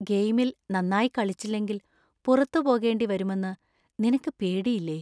ഗെയിമിൽ നന്നായി കളിച്ചില്ലങ്കിൽ പുറത്ത് പോകേണ്ടി വരുമെന്ന് നിനക്ക് പേടിയില്ലേ?